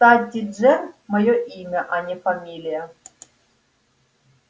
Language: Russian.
кстати джер моё имя а не фамилия